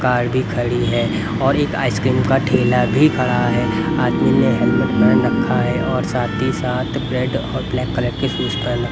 Car भी खड़ी है और एक आइसक्रीम का ठेला भी खड़ा है आदमी ने हेलमेट पहन रखा है और साथ ही साथ ब्रेड ब्लैक कलर के शूज़ पहने हैं.